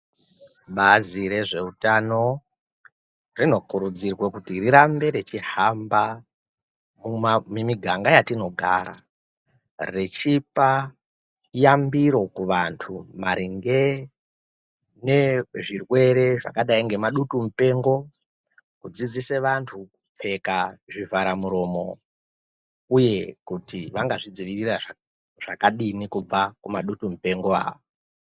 Bazi rezveutano rinokurudzirwa kuti rirambe rechihamba mumiganga yatinogara, vachipa yambiro kuvantu maringe nezvirwere zvakadayi ngemadutu mupengo, kudzidzise vantu kupfeka zvivhara muromo uye kuti vangazvidzivirira zvakadini kubva kumadutu mupengo aya.